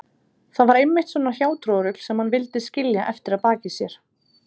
Það var einmitt svona hjátrúarrugl sem hann vildi skilja eftir að baki sér.